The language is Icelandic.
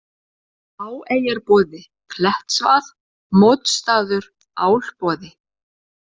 Háeyjarboði, Klettsvað, Mótsstaður, Álboði